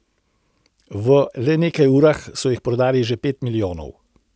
V le nekaj urah so jih prodali že pet milijonov.